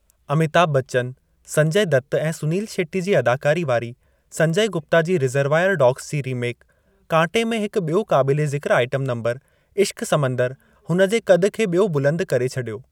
अमिताभ बच्चन, संजय दत्त ऐं सुनील शेट्टी जी अदाकारी वारी संजय गुप्ता जी रिज़र्वायर डॉग्स जी रीमेक कांटे में हिकु बि॒यो क़ाबिले ज़िक्रु आइटम नंबर 'इश्क समुंदर' हुन जे कदु खे बि॒यो बुलंदु करे छडि॒यो।